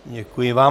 Děkuji vám.